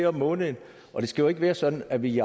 om måneden og det skal jo ikke være sådan at vi